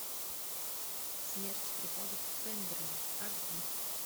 смерть приходит в пемберли аш ди